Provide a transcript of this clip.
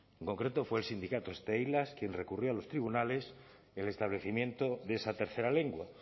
en concreto fue el sindicato steilas quien recurrió a los tribunales el establecimiento de esa tercera lengua